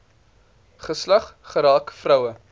geslag geraak vroue